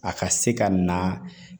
A ka se ka na